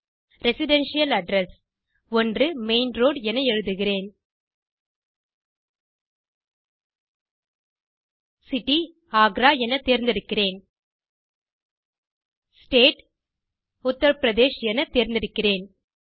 residential Address 1 main road என எழுதுகிறேன் City Agra என தேர்ந்தெடுக்கிறேன் State உத்தர் பிரதேஷ் என தேர்ந்தெடுக்கிறேன்